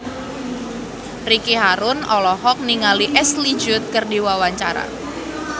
Ricky Harun olohok ningali Ashley Judd keur diwawancara